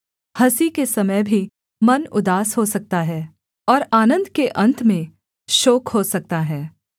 हँसी के समय भी मन उदास हो सकता है और आनन्द के अन्त में शोक हो सकता है